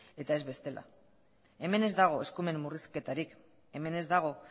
eta ez bestela hemen ez dago eskumen murrizketarik hemen ez dago